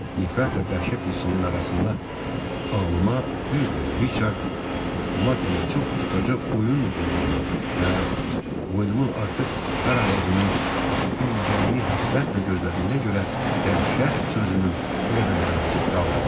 Nifrətlə dəhşət hissinin arasında ağlıma, düzdü, Riçard Maddinə çox ustaca oyun qurduğuma və boynumun artıq dar ağacının ilgəyini həsrətlə gözlədiyinə görə dəhşət sözünün elə də mənası qalmırdı.